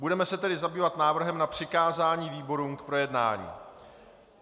Budeme se tedy zabývat návrhem na přikázání výborům k projednání.